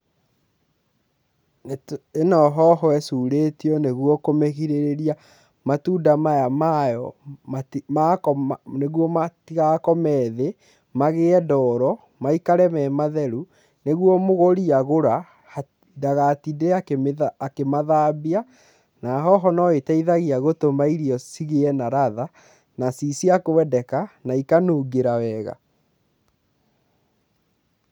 Ĩno hoho ĩcurĩtio nĩguo kũmĩgĩrĩrĩria matunda maya mayo, nĩguo matigakome thĩ magĩe ndoro, maikare me matheru, nĩguo mũgũri agũra ndagatinde akĩmathambia, na hoho no ĩteithagia gũtũma irio cigĩe na ratha, na ciĩ cia kwendeka, na ikanungĩra wega.